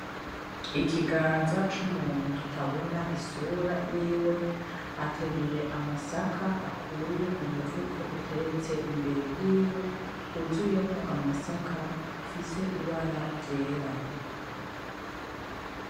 Ikiganza c’umuntu tutabona isura yiwe ,ateruye amasaka akuye mumufuko utereste imbere yiwe huzuyemwo amasaka ufise ibara ryera.